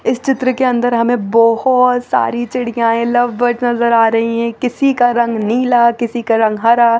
इस चित्र के अन्दर हमें बोहोत सारी चिडयाये लव बर्ड नज़र आ रही है किसी का रंग नीला किसी का रंग हरा --